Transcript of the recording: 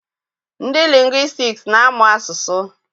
Ndị lingwistiks na-amụ asụsụ